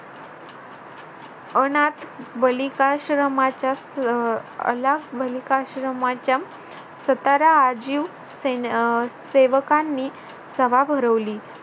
अनाथ बालिकाश्रमच्या अं अनाथ बालिकाश्रमच्या सतारा अजीव अह सेवकांनी सभा भरवली